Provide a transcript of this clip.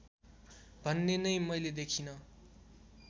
भन्ने नै मैले देखिँन